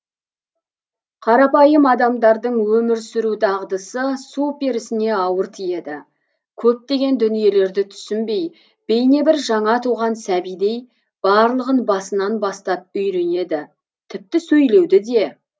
қарапайым адамдардың өмір сүру дағдысы су перісіне ауыр тиеді көптеген дүниелерді түсінбей бейне бір жаңа туған сәбидей барлығын басынан бастап үйренеді тіпті сөйлеуді де